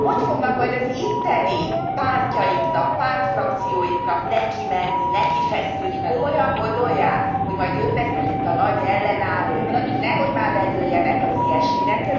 Hogy fognak majd az itteni pártjaiknak, pártfrakcióiknak nekimenni, nekifeszülni, komolyan gondolják, hogy majd ők lesznek itt a nagy ellenállók? Nehogy már bedőljenek az ilyesminek!